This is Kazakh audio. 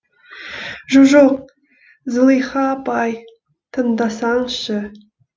жо жоқ зылиха апааай тыңдасаңызшы